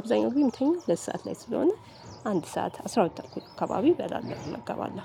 አብዛኛው ጊዜ እምተኛው ሁለት ሰዓት ላይ ስለሆነ አንድ ሰዓት አስራ ሁለት ተኩል አካባቢ እበላለሁ እመገባለሁ